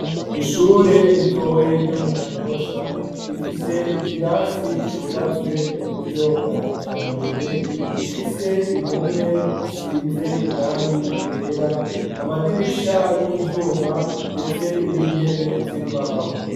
Ishure ritoya ryo mu Kanyosha rifise ikirasi cubatswe mu buryo bwa kijambere gifise impome zisize irangi ryera. Amadirisha y'ivyuma ndetse n'intebe z'imbaho.